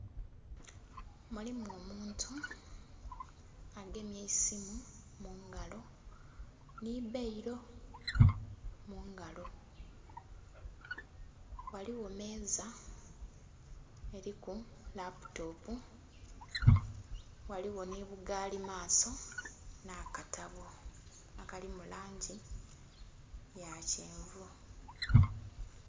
Mulimu omuntu agemye eisimu mu ngalo, nhi bbailo mu ngalo. Ghaligho meeza eliku laputopu, ghaligho nhi bu gaalimaaso nh'akatabo akali mu langi ya kyenvu